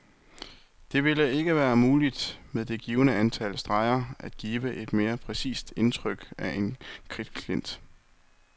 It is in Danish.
Det ville ikke være muligt, med det givne antal streger, at give et mere præcist indtryk af en kridtklint.